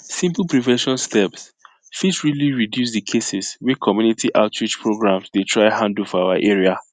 simple prevention steps fit really reduce the cases wey community outreach programs dey try handle for our area